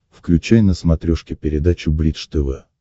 включай на смотрешке передачу бридж тв